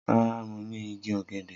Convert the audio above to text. Rara, Mo ni igi ogede.